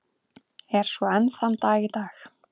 Er svo enn þann dag í dag.